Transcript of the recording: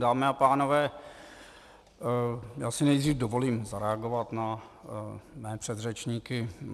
Dámy a pánové, já si nejdřív dovolím zareagovat na své předřečníky.